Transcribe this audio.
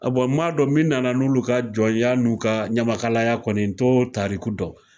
A bɔn n m'a dɔn min nana n'olu ka jɔnya n'u ka ɲamakalaya kɔni n to tariku dɔn